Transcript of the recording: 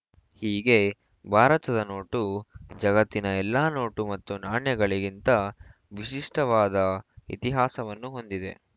ಹೀಗೆ ಭಾರತದ ನೋಟು ಜಗತ್ತಿನ ಎಲ್ಲ ನೋಟು ಮತ್ತು ನಾಣ್ಯಗಳಿಗಿಂತ ವಿಶಿಷ್ಟವಾದ ಇತಿಹಾಸವನ್ನು ಹೊಂದಿದೆ